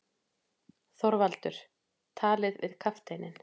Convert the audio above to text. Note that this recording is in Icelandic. ÞORVALDUR: Talið við kafteininn.